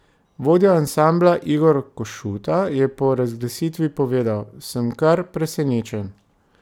Vodja ansambla Igor Košuta je po razglasitvi povedal: 'Sem kar presenečen.